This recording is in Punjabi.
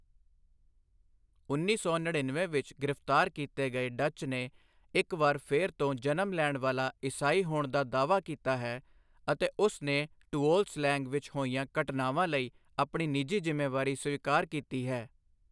ਉੱਨੀ ਸੌ ਨੜੀਨਵੇਂ ਵਿੱਚ ਗ੍ਰਿਫਤਾਰ ਕੀਤੇ ਗਏ ਡਚ ਨੇ ਇੱਕ ਵਾਰ ਫਿਰ ਤੋਂ ਜਨਮ ਲੈਣ ਵਾਲਾ ਈਸਾਈ ਹੋਣ ਦਾ ਦਾਅਵਾ ਕੀਤਾ ਹੈ ਅਤੇ ਉਸ ਨੇ ਟੂਓਲ ਸਲੈਂਗ ਵਿੱਚ ਹੋਈਆਂ ਘਟਨਾਵਾਂ ਲਈ ਆਪਣੀ ਨਿੱਜੀ ਜ਼ਿੰਮੇਵਾਰੀ ਸਵੀਕਾਰ ਕੀਤੀ ਹੈ।